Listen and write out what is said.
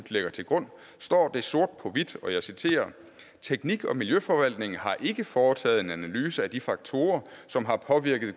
lægger til grund står det sort på hvidt og jeg citerer teknik og miljøforvaltningen har ikke foretaget en analyse af de faktorer som har påvirket